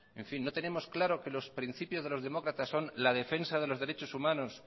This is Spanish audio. no tenemos claro que los principios de los demócratas son la defensa de los derechos humanos